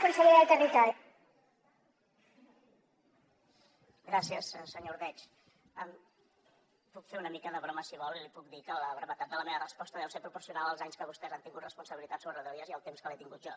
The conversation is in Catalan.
gràcies senyor ordeig puc fer una mica de broma si vol i li puc dir que la brevetat de la meva resposta deu ser proporcional als anys que vostès han tingut responsabilitat sobre rodalies i al temps que l’he tingut jo